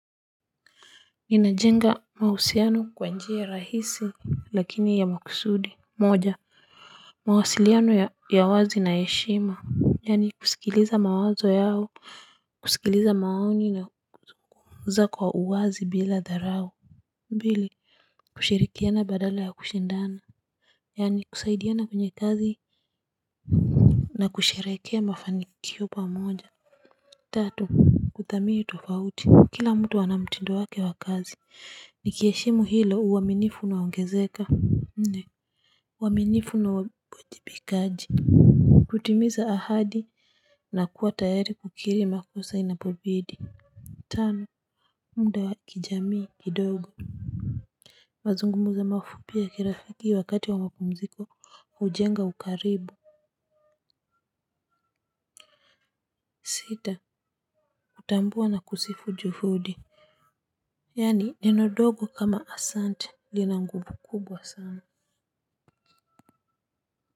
Ninajenga mahusiano kwa njia rahisi lakini ya makusudi moja mawasiliano ya wazi na ya heshima. Yani kusikiliza mawazo yao kusikiliza maoni na huza kwa uwazi bila dharau mbili kushirikiana badala ya kushindana. Yani kusaidiana kwenye kazi na kusherekea mafanikio pa moja. Tatu kuthamii tofauti. Kila mtu ana mtindo wake wakazi ni kiheshimu hilo uaminifu unaongezeka nne uaminifu na uwabikaji kutimiza ahadi na kuwa tayari kukiri makosa inapobidi. Tano mda wa kijamii kidogo mazungumuza mafupi ya kirafiki wakati wa mapumziko ujenga ukaribu. Sita kutambua na kusifu juhudi. Yani neno dogo kama asante linanguvu kubwa sana.